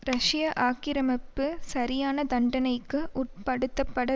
ரஷ்ய ஆக்கிரமிப்பு சரியான தண்டனைக்கு உட்படுத்தப்பட